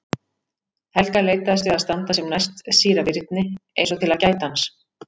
Helga leitaðist við að standa sem næst síra Birni eins og til að gæta hans.